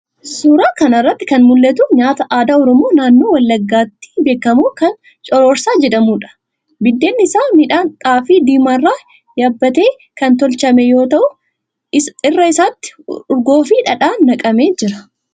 Suuraa kana irratti kan mul'atu nyaata aadaa Oromoo naannoo Wallaggaatti beekamu kan cororsaa jedhamuudha. Biddeenni isaa midhaan xaafii diimaa irraa yabbatee kan tolchame yoo ta'u, irra isaatti urgoofi dhadhaan naqamee jira.